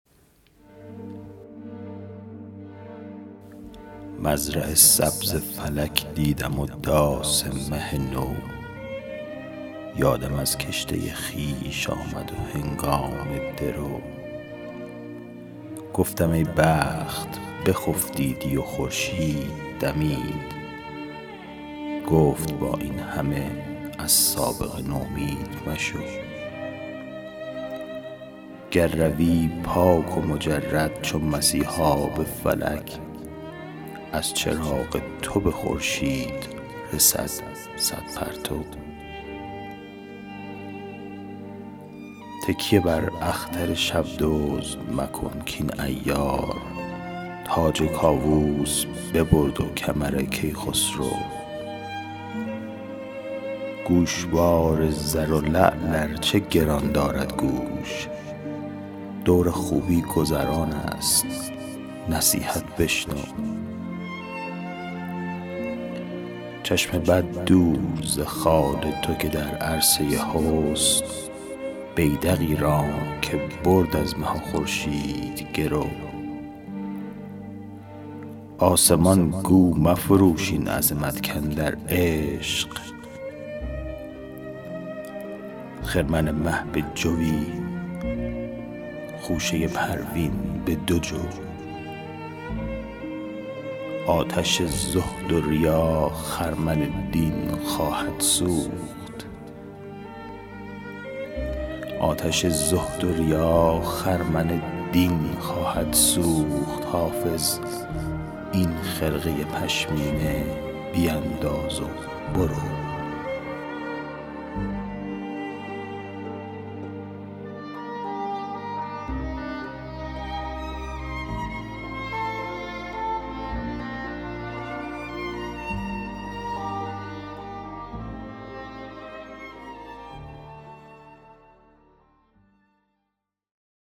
مزرع سبز فلک دیدم و داس مه نو یادم از کشته خویش آمد و هنگام درو گفتم ای بخت بخفتیدی و خورشید دمید گفت با این همه از سابقه نومید مشو گر روی پاک و مجرد چو مسیحا به فلک از چراغ تو به خورشید رسد صد پرتو تکیه بر اختر شب دزد مکن کاین عیار تاج کاووس ببرد و کمر کیخسرو گوشوار زر و لعل ار چه گران دارد گوش دور خوبی گذران است نصیحت بشنو چشم بد دور ز خال تو که در عرصه حسن بیدقی راند که برد از مه و خورشید گرو آسمان گو مفروش این عظمت کاندر عشق خرمن مه به جوی خوشه پروین به دو جو آتش زهد و ریا خرمن دین خواهد سوخت حافظ این خرقه پشمینه بینداز و برو